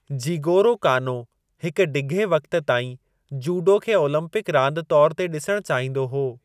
Jigoro Kano हिक डिघे वक़्त ताईं जूडो खे ओलम्पिक रांदि तौर ते ॾिसणु चाहींदो हो।